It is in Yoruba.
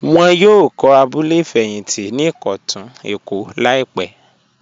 Wọ́n yóò kọ̀ abúlẹ̀ fẹyíntí ní Ikọ́tun Lagos laípè.